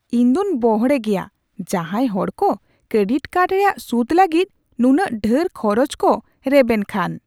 ᱤᱧ ᱫᱩᱧ ᱵᱚᱲᱦᱮ ᱜᱮᱭᱟ ᱡᱟᱦᱟᱭ ᱦᱚᱲ ᱠᱚ ᱠᱨᱮᱰᱤᱴ ᱠᱟᱨᱰ ᱨᱮᱭᱟᱜ ᱥᱩᱫ ᱞᱟᱹᱜᱤᱫ ᱱᱩᱱᱟᱹᱜ ᱰᱷᱮᱨ ᱠᱷᱚᱨᱚᱪ ᱠᱚ ᱨᱮᱵᱮᱱ ᱠᱷᱟᱱ ᱾